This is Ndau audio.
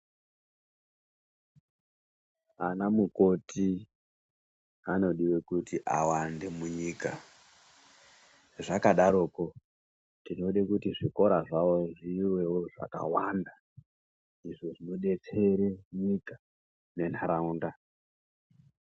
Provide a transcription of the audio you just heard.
Ana mukoti anodiwa kuti awande munyika zvakadaroko tinoda kuti zvikora zvawo zviwewo zvakawanda zvinobetsere nyika nenharaunda.